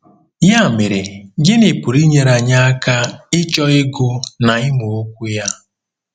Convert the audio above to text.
Ya mere, gịnị pụrụ inyere anyị aka ịchọ ịgụ na ịmụ Okwu ya?